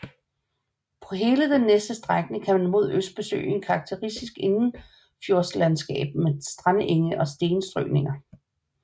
På hele den næste strækning kan man mod øst besøge et karakteristisk indenfjordslandskab med strandenge og stenstrøninger